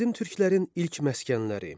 Qədim Türklərin ilk məskənləri.